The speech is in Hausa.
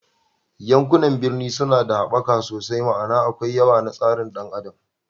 Yankunan birni suna da haɓaka sosai, ma'ana akwai yawa na tsarin ɗan adam